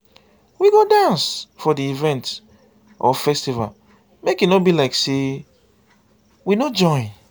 we go dance for di event or festival make e no be like sey we no join